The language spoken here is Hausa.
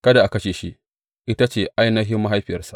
Kada a kashe shi; ita ce ainihin mahaifiyarsa.